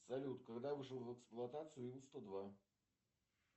салют когда вышел в эксплуатацию ил сто два